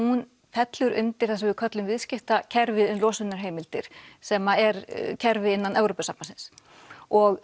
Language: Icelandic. fellur undir það sem við köllum viðskiptakerfi losunarheimildir sem er kerfi innan Evrópusambandsins og